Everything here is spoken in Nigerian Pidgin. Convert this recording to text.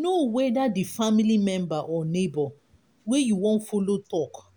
know whether di family member or neighbour wey you won follow talk